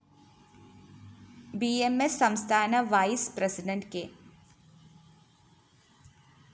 B M S സംസ്ഥാന vice president K